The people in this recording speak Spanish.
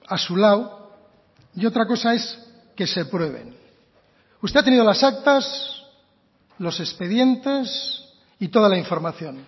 a su lado y otra cosa es que se prueben usted ha tenido las actas los expedientes y toda la información